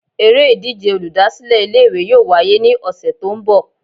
Eré ìdíje olùdásílè Ilé ìwé yóò wáyé ní òsè tó n bò